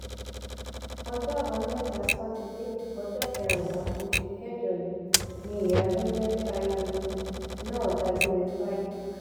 ọjọ àbámẹta sátidé ọjọ kẹrìnlá oṣù kẹjọ yìí ni ìyà tó ń jẹ ttayolu náà dágbére fáyé